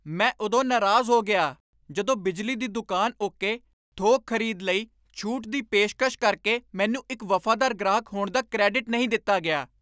ਮੈਂ ਉਦੋਂ ਨਾਰਾਜ਼ ਹੋ ਗਿਆ ਜਦੋਂ ਬਿਜਲੀ ਦੀ ਦੁਕਾਨ ਉੱਕੇ ਥੋਕ ਖ਼ਰੀਦ ਲਈ ਛੂਟ ਦੀ ਪੇਸ਼ਕਸ਼ ਕਰਕੇ ਮੈਨੂੰ ਇੱਕ ਵਫ਼ਾਦਾਰ ਗ੍ਰਾਹਕ ਹੋਣ ਦਾ ਕ੍ਰੈਡਿਟ ਨਹੀਂ ਦਿੱਤਾ ਗਿਆ।